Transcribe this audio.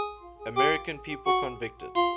american people convicted